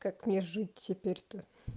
как мне жить теперь-то